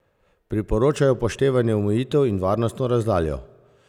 Priporočajo upoštevanje omejitev in varnostno razdaljo!